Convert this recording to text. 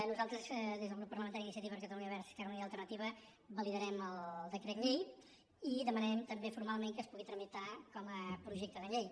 nosaltres des del grup parlamentari d’iniciativa per catalunya verds · esquerra unida i alternativa validarem el decret llei i demanarem també formalment que es pugui tramitar com a projecte de llei